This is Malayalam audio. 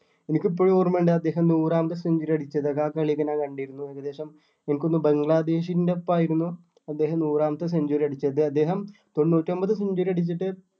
എനിക്ക് ഇപ്പോഴും ഓർമ്മ ഉണ്ട് അദ്ദേഹം നൂറാമത്തെ century അടിച്ചത് ആ കളി ഒക്കെ ഞാൻ കണ്ടിരുന്നു ഏകദേശം എനിക്ക് തോന്നുന്നു ബംഗ്ലാദേശിൻ്റെ ഒപ്പം ആയിരുന്നു അദ്ദേഹം നൂറാമത്തെ century അടിച്ചത് അദ്ദേഹം തൊണ്ണൂറ്റൊമ്പത് century അടിച്ചിട്ട്